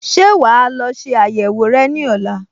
Ṣé wà á lọ ṣe àyẹ̀wò rẹ ní ọ̀la?